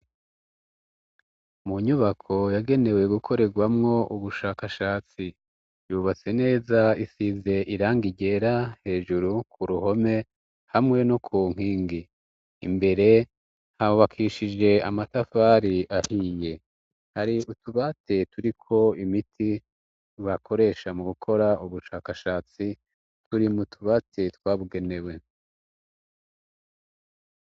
Mu nyubako yagenewe gukorerwamwo ubushakashatsi yubatse neza isize iranga iryera hejuru ku ruhome hamwe no ku nkingi imbere habakishije amatafari ahinye hari utubate turiko imiti bakoresha mu gukora ubushakashatsi turi mu tubatse twabugenewe.